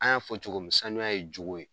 An y'a fɔ cogomi saniya ye jogo ye.